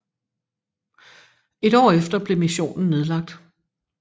Et år efter blev missionen nedlagt